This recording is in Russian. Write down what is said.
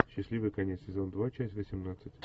счастливый конец сезон два часть восемнадцать